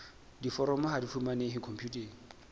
diforomo ha di fumanehe khomputeng